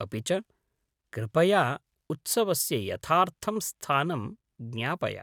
अपि च, कृपया उत्सवस्य यथार्थं स्थानं ज्ञापय।